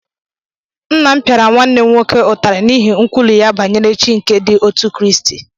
Nna m pịara nwanne m nwoke ụtarị n’ihi nkwulu ya banyere Chi nke ndi otu Kraịst.